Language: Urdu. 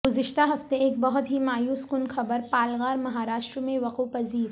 گزشتہ ہفتے ایک بہت ہی مایوس کن خبرپالگرمہاراشٹر میں وقوع پذیر